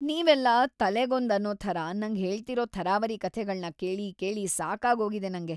ನೀವೆಲ್ಲ ತಲೆಗೊಂದು ಅನ್ನೋ ಥರ ನಂಗ್ ಹೇಳ್ತಿರೋ ಥರಾವರಿ ಕಥೆಗಳ್ನ ಕೇಳಿ ಕೇಳಿ‌ ಸಾಕಾಗೋಗಿದೆ ನಂಗೆ.